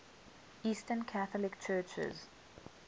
eastern catholic churches